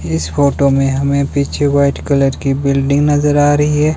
इस फोटो में हमें पीछे वाइट कलर की बिल्डिंग नजर आ रही है।